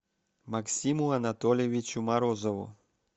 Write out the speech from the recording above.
максиму анатольевичу морозову